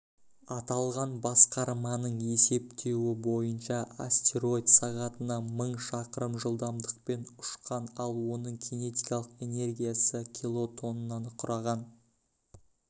аталған басқарманың есептеуі бойынша астероид сағатына мың шақырым жылдамдықпен ұшқан ал оның кинетикалық энергиясы килотоннаны құраған